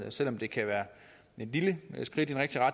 og selv om det kan være et lille skridt i